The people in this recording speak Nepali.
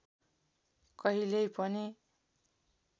कहिल्यै पनि